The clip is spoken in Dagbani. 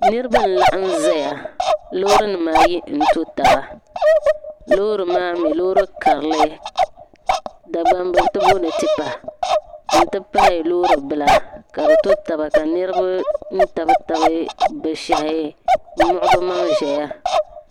Ni rib n-laɣim zaya loorinima ayi nto taba loori maami, loori karili. Dagbamba tiboɔnɔ tipa n ti pahi loori bila. kabi to taba .ka nirba, tab tab bishahi n muɣi bimaŋ zaya.